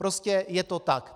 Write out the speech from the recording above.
Prostě je to tak.